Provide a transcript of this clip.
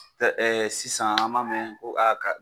Sisan an m'a mɛn ko